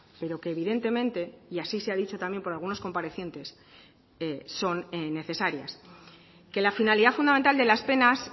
pero que evidentemente y así se ha dicho también por algunos comparecientes son necesarias que la finalidad fundamental de las penas